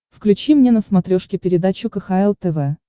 включи мне на смотрешке передачу кхл тв